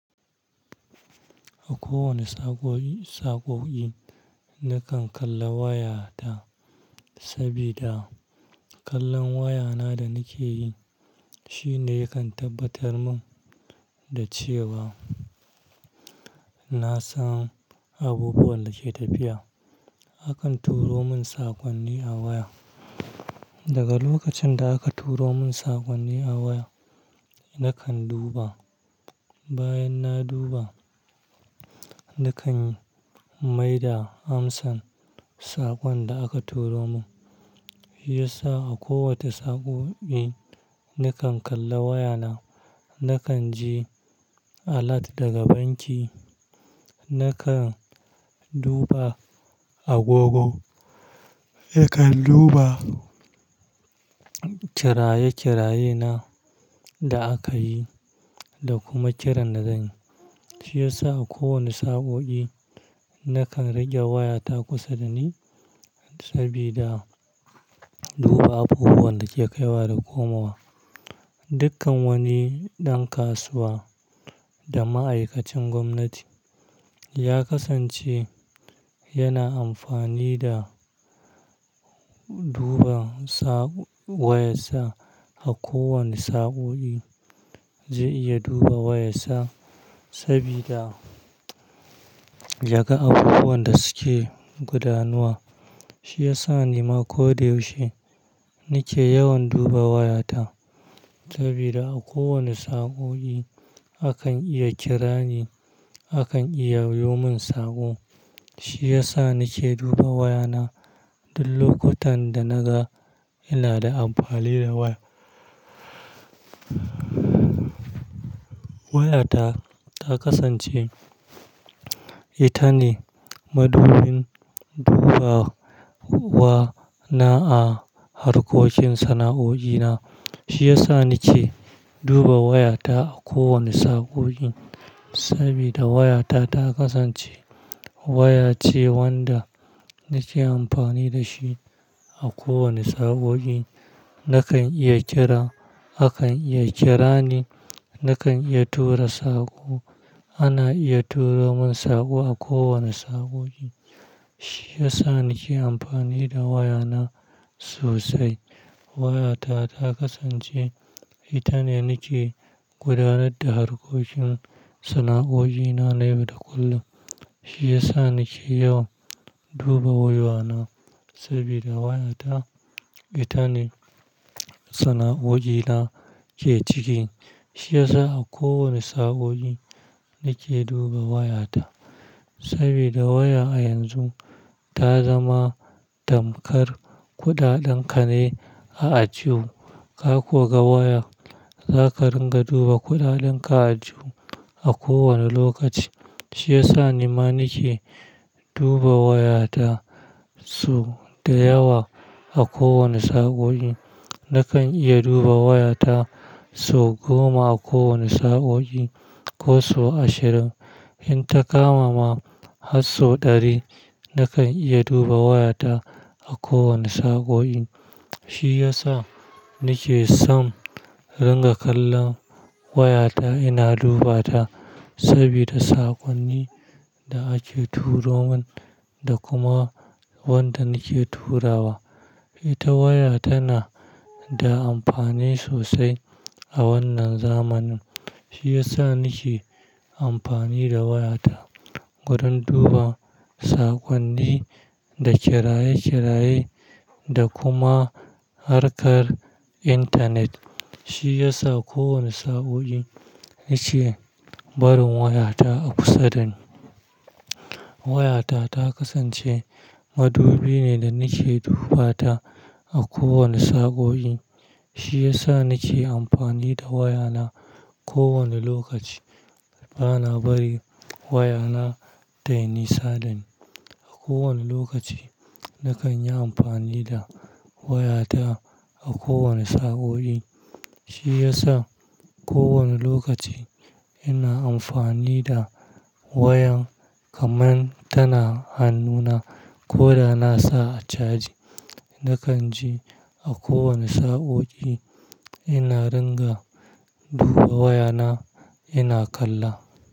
A kowane saƙo-saƙoƙi nakan kalla wayata sabida kallon wayana da nike yi shine yakan tabbatar mun da cewa na san abubuwan da ke tafiya. Akan turo mun saƙonni a waya. Daga lokacin da aka turo mun saƙonni a waya nakan duba. Bayan na duba nakan maida amsa sakon da aka turo min. Shi yasa a kowace saƙoƙi nakan kalla wayana. Nakan ji alert daga banki, nakan duba agogo, e kan duba kiraye-kiraye na da aka yi da kuma kiran da zanyi. Shi yasa a kowane saƙoƙi nakan rage wayata kusa da ni sabida duba abubuwan da ke kaiwa da komawa. Dukkan wani ɗan kasuwa da ma'aikacin gwamnati ya kasance yana amfani da duba sa-- wayarsa a kowane saƙoƙi. Zai iya duba wayarsa sabida yaga abubuwan da suke gudanuwa. Shi yasa ni ma ko da yaushe nike yawan duba wayata sabida a kowane saƙoƙi akan iya kira ni, akan iya yayo mun saƙo. Shi yasa nike duba wayana duk lokutan da naga ina da amfani da waya-wayata ta kasance ita ne madubin duba wa na a harkokin sana'o'i na. Shi yasa nike duba wayata a kowane saƙoƙi sabida wayata ta kasance waya ce wanda nake amfani da shi a kowane saƙoƙi. Nakan iya kira, akan iya kira ni, nakan iya tura saƙo, ana iya turo mun saƙo a kowane saƙoƙi. Shi yasa nike amfani da wayana sosai. Wayata ta kasance ita ne nake gudanar da harkokin sana'o'i na na yau da kullum. Shi yasa nike yawan duba wayana sabida wayata ita ne sana'o'i na ke ciki. Shi yasa a kowane saƙoƙi nike duba wayata sabida waya a yanzu ta zama damkar kuɗaɗen ka ne a ajihu. Ka koga waya, zaka ringa duba kuɗaɗan ka a ajihu a kowane lokaci. Shi yasa ni ma nike duba wayata so da yawa a kowane saƙoƙi. Nakan iya duba wayata so goma a kowane saƙoƙi ko so ashirin. In ta kama ma har so ɗari, nakan iya duba wayata a kowane saƙoƙi. Shi yasa nike son ringa kallon wayata ina duba ta sabida saƙonnin da ake turo mun da kuma wanda nike turawa. Ita waya tana da amfani sosai a wannan zamanin. Shi yasa nike amfani da wayata wurin duba saƙonni da kiraye-kiraye da kuma harkar intanet. Shi yasa kowane saƙoƙi nike barin wayata a kusa da ni. Wayata ta kasance madubi ne da nike dubata a kowane saƙoƙi. Shi yasa nike amfani da wayana ko wane lokaci. Bana bari wayana tai nisadani. A kowane lokaci nakan yi amfani da wayata a kowane saƙoƙi. Shi yasa kowane lokaci ina amfani da wayan kamar tana hannuna. Ko da nasa a caji, nakan je a kowane saƙoƙi ina ringa duba wayana ina kalla.